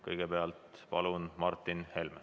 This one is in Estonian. Kõigepealt palun Martin Helme.